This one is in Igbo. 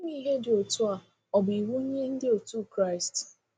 Ime Ihe dị otu a bụ iwu nye ndị otu Kraịst.